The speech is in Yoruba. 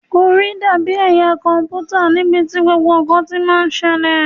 Orí dàbí ẹ̀yà kọ̀m̀pútà níbi tí gbogbo ǹkan ti máa ń ṣẹlẹ̀.